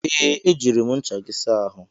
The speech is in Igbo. Ee, ejiri m ncha gị saa ahụ.